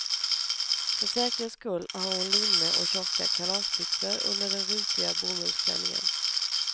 För säkerhets skull har hon linne och tjocka kalasbyxor under den rutiga bomullsklänningen.